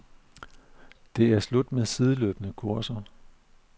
Det er slut med sideløbende kurser.